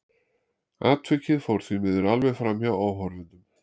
Atvikið fór því miður alveg framhjá áhorfendum.